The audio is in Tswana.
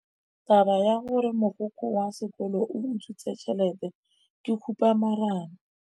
Taba ya gore mogokgo wa sekolo o utswitse tšhelete ke khupamarama.